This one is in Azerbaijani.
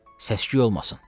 səs-küy olmasın.